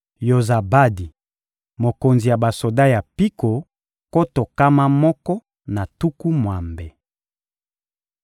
Yozabadi, mokonzi ya basoda ya mpiko nkoto nkama moko na tuku mwambe.